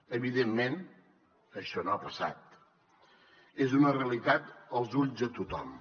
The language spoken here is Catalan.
evidentment això no ha passat és una realitat als ulls de tothom